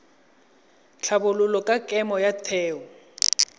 tlhabololo ya kemo ya theo